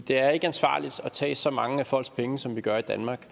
det er ikke ansvarligt at tage så mange af folks penge som vi gør i danmark